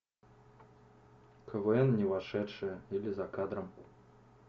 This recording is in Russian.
квн не вошедшее или за кадром